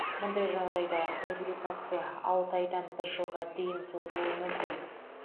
мұндай жағдайда реабилитация алты айдан бір жылға дейін созылуы мүмкін